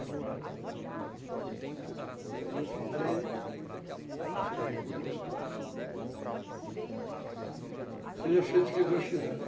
E aí eu fiquei sem recurso, mas seja feito o que Deus quiser, né?